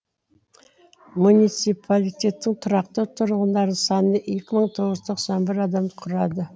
муниципалитеттің тұрақты тұрғындарының саны екі мың тоғыз жүз тоқсан бір адамды құрады